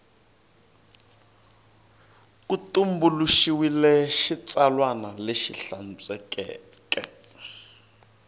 ku tumbuluxiwile xitsalwana lexi hlantswekeke